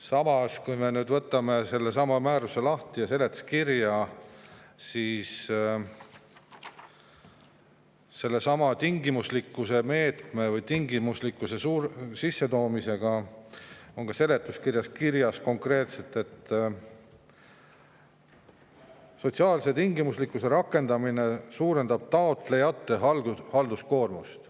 Samas, kui me võtame lahti määruse ja seletuskirja, siis sellesama tingimuslikkuse meetme või tingimuslikkuse sissetoomise kohta on seletuskirjas kirjas konkreetselt, et sotsiaalse tingimuslikkuse rakendamine suurendab taotlejate halduskoormust.